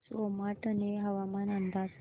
सोमाटणे हवामान अंदाज